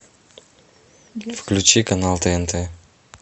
включи канал тнт